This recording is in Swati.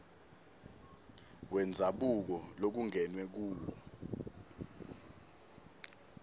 wendzabuko lokungenwe kuwo